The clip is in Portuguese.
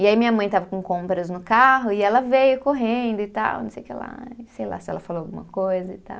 E aí minha mãe estava com compras no carro e ela veio correndo e tal, não sei o que lá, e sei lá se ela falou alguma coisa e tal.